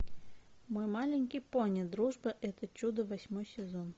мой маленький пони дружба это чудо восьмой сезон